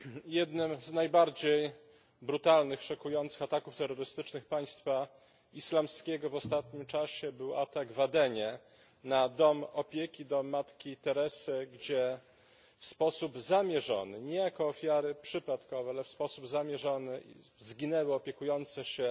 Pani Przewodnicząca! Jednym z najbardziej brutalnych, szokujących ataków terrorystycznych Państwa Islamskiego w ostatnim czasie był atak w Adenie na dom opieki, dom Matki Teresy, gdzie w sposób zamierzony nie jako ofiary przypadkowe, lecz w sposób zamierzony zginęły opiekujące się